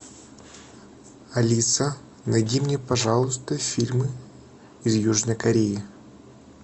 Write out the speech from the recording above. алиса найди мне пожалуйста фильмы из южной кореи